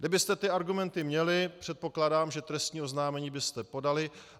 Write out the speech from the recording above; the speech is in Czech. Kdybyste ty argumenty měli, předpokládám, že trestní oznámení byste podali.